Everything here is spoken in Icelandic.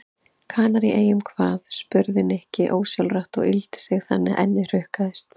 Kanaríeyjum hvað? spurði Nikki ósjálfrátt og yggldi sig þannig að ennið hrukkaðist.